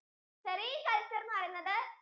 cericulture എന്ന് പറയുന്നത്